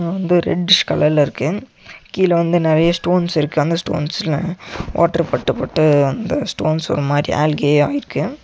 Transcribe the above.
வந்து ரெட்டிஷ் கலர்ல இருக்கு கீழ வந்து நெறையா ஸ்டோன்ஸ் இருக்கு அந்த ஸ்டோன்ஸ்லா வாட்டர் பட்டு பட்டு அந்த ஸ்டோன்ஸ் ஒரு மாரி ஆல்கேயாருக்கு .